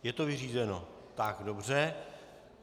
Je to vyřízeno, tak dobře.